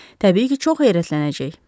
Təbii ki, çox heyrətlənəcək.